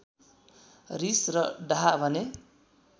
रिस र डाहा भने